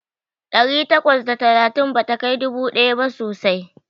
Ɗari takwas da talatin bata kai dubu ɗaya ba sosai.